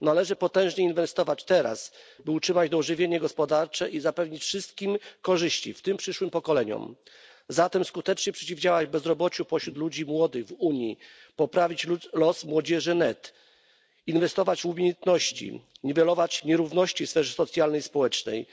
Należy potężnie inwestować teraz, by utrzymać to ożywienie gospodarcze i zapewnić wszystkim korzyści, w tym przyszłym pokoleniom. Należy zatem skutecznie przeciwdziałać bezrobociu wśród ludzi młodych w Unii, poprawić los młodzieży NEET, inwestować w umiejętności, niwelować nierówności w sferze socjalnej i społecznej,